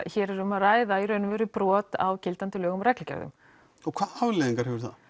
hér er um að ræða brot á gildandi lögum og reglugerðum og hvaða afleiðingar hefur það